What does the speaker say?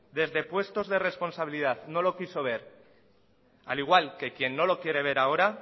desde puestos de responsabilidad no lo quiso ver al igual que quien no lo quiere ver ahora